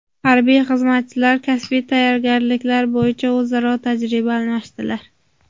Harbiy xizmatchilar kasbiy tayyorgarliklar bo‘yicha o‘zaro tajriba almashdilar.